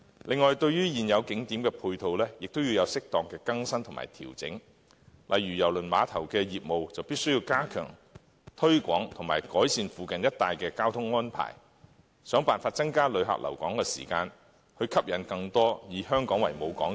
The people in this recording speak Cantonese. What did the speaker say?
另外，對於現有景點的配套，亦要有適當的更新和調整，例如就郵輪碼頭的業務而言，當局必須加強推廣及改善附近一帶的交通安排，設法增加旅客留港的時間，以及吸引更多郵輪以香港作為母港。